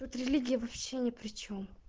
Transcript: религия вообще не причём